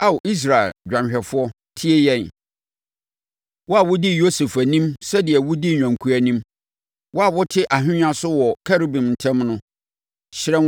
Ao Israel dwanhwɛfoɔ, tie yɛn, wo a wodii Yosef anim sɛdeɛ wɔdi nnwankuo anim; wo a wote ahennwa so wɔ Kerubim ntam no, hyerɛn